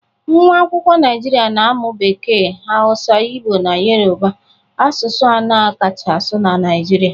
Nwa akwụkwọ Naijiria na-amụ Bekee, Hausa, Igbo na Yoruba, asụsụ anọ a kacha asụ na Naịjirịa